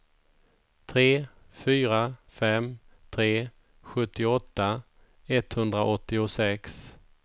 tre fyra fem tre sjuttioåtta etthundraåttiosex